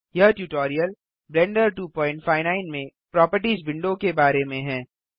यह tutorial Blender 259 में properties window के बारे में है